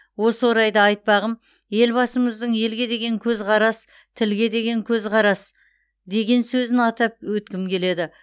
осы орайда айтпағым елбасымыздың елге деген көзқарас тілге деген көзқарас деген сөзін атап өткім келеді